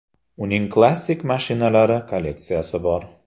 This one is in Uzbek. Uning klassik mashinalar kolleksiyasi bor.